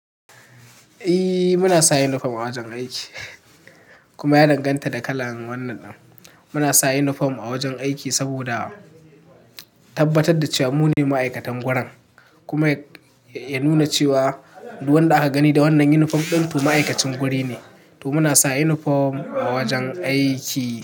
Eh muna sa uniform a wajen aiki. Kuma ya danganta da kalan wannan. Muna sa uniform a wajen aiki saboda tabbatar da cewa mu ne ma'aikatan wurin. Kuma ya nuna cewa duk wanda ka gani da wannan uniform to ma'aikacin guri ne. To muna sa uniform a wajen aiki.